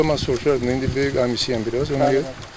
Burada mən soruşardım, indi böyük əmisiyəm biraz, ona görə.